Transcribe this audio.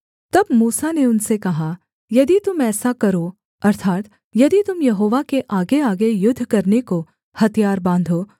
तब मूसा ने उनसे कहा यदि तुम ऐसा करो अर्थात् यदि तुम यहोवा के आगेआगे युद्ध करने को हथियार बाँधो